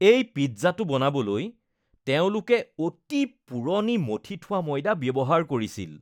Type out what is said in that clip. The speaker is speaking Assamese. এই পিজ্জাটো বনাবলৈ তেওঁলোকে অতি পুৰণি মথি থোৱা ময়দা ব্যৱহাৰ কৰিছিল।